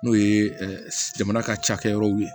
N'o ye jamana ka cakɛ yɔrɔw ye